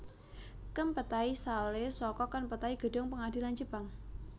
Kempetai sale saka Kenpetai gedung pengadilan jepang